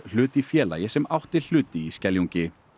hlut í félagi sem átti hluti í Skeljungi